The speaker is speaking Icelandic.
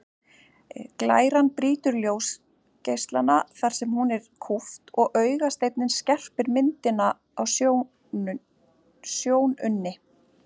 Glæran brýtur ljósgeislana þar sem hún er kúpt og augasteinninn skerpir myndina á sjónunni.